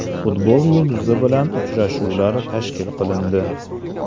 Futbol yulduzi bilan uchrashuvlar tashkil qilindi.